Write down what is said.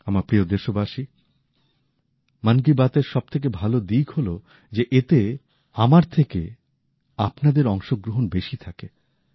আমার প্রিয় দেশবাসী মন কি বাত এর সবথেকে ভাল দিক হল যে এতে আমার থেকে আপনাদের অংশ গ্রহন বেশি থাকে